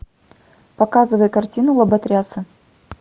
показывай картину лоботрясы